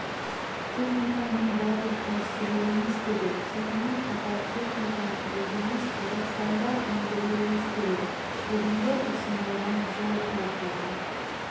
техниканың бәрін ауыстыруымыз керек сонымен қатар техниканы өзіміз қазақстанда өндіруіміз керек бүгінгі ұсынылған жол картада